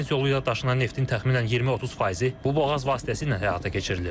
Ümumi dəniz yolu ilə daşınan neftin təxminən 20-30 faizi bu boğaz vasitəsilə həyata keçirilir.